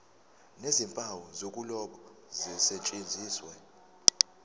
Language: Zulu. nezimpawu zokuloba zisetshenziswe